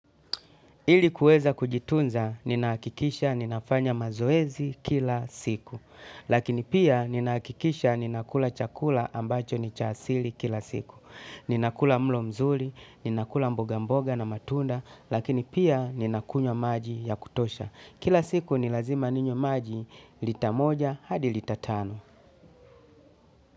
Ili kuweza kujitunza, ninahakikisha ninafanya mazoezi kila siku. Lakini pia, ninahakikisha ninakula chakula ambacho ni cha asili kila siku. Ninakula mlo mzuri, ninakula mboga mboga na matunda lakini pia nina kunywa maji ya kutosha. Kila siku ni lazima ninywe maji lita moja hadi lita tano.